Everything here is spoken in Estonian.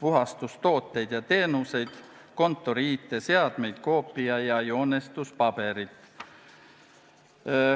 puhastustooteid ja -teenuseid, kontori IT-seadmeid, koopia- ja joonestuspaberit.